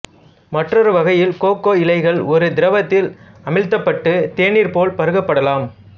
மற்றொரு வகையில் கோகோ இலைகள் ஒரு திரவத்தில் அமிழ்த்தப்பட்டு தேநீர் போல் பருகப்படலாம்